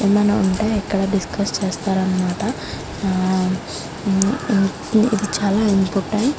ఏమైనా ఉంటే ఇక్కడ డిస్కస్ చేస్తారు అనమాట ఆ ఇది చాలా ఇంపార్టెంట్ .